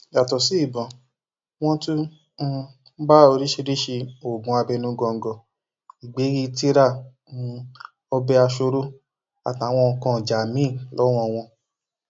yàtọ sí ìbọn wọn tún um bá oríṣìíríṣìí oògùn abẹnugọńgọ ìgbéríi tira um ọbẹ asọọrọ àtàwọn nǹkan ìjà míín lọwọ wọn